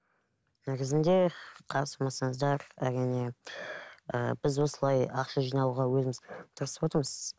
негізінде қарсы болмасаңыздар әрине ііі біз осылай ақша жинауға өзіміз тырысып отырмыз